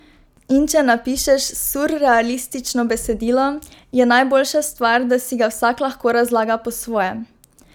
In če napišeš surrealistično besedilo, je najboljša stvar, da si ga vsak lahko razlaga po svoje.